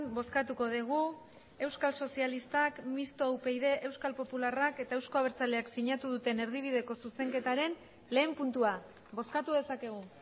bozkatuko dugu euskal sozialistak mistoa upyd euskal popularrak eta euzko abertzaleak sinatu duten erdibideko zuzenketaren lehen puntua bozkatu dezakegu